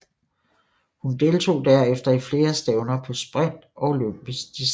Hun deltog derefter i flere stævner på sprint og olympisk distance